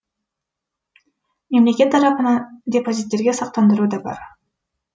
мемлекет тарапынан депозиттерге сақтандыру да бар